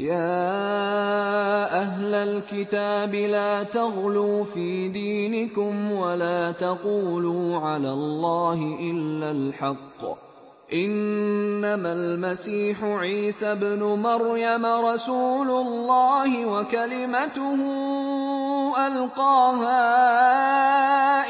يَا أَهْلَ الْكِتَابِ لَا تَغْلُوا فِي دِينِكُمْ وَلَا تَقُولُوا عَلَى اللَّهِ إِلَّا الْحَقَّ ۚ إِنَّمَا الْمَسِيحُ عِيسَى ابْنُ مَرْيَمَ رَسُولُ اللَّهِ وَكَلِمَتُهُ أَلْقَاهَا